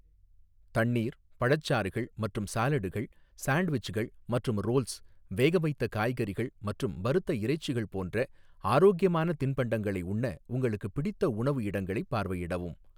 தண்ணீர், பழச்சாறுகள் மற்றும் சாலடுகள், சாண்ட்விச்கள் மற்றும் ரோல்ஸ், வேகவைத்த காய்கறிகள் மற்றும் வறுத்த இறைச்சிகள் போன்ற ஆரோக்கியமான தின்பண்டங்களை உண்ண உங்களுக்கு பிடித்த உணவு இடங்களைப் பார்வையிடவும்.